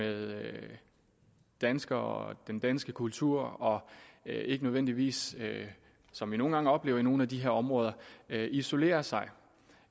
med danskere og den danske kultur og ikke nødvendigvis som vi nogle gange oplever i nogle af de her områder isolerer sig